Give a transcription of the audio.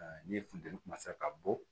ni funteni ka bɔ